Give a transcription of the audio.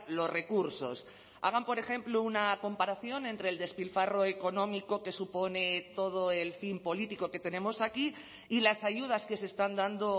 los recursos hagan por ejemplo una comparación entre el despilfarro económico que supone todo el fin político que tenemos aquí y las ayudas que se están dando